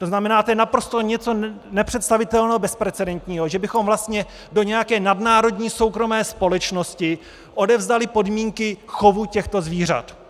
To znamená, to je naprosto něco nepředstavitelného, bezprecedentního, že bychom vlastně do nějaké nadnárodní soukromé společnosti odevzdali podmínky chovu těchto zvířat.